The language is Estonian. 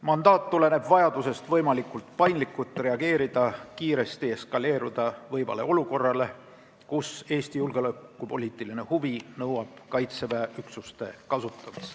Mandaat tuleneb vajadusest võimalikult paindlikult reageerida kiiresti eskaleeruda võivale olukorrale, kus Eesti julgeolekupoliitiline huvi nõuab Kaitseväe üksuste kasutamist.